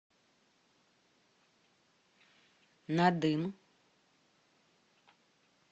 надым